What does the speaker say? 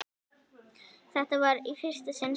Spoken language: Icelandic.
Þetta var í fyrsta sinn sem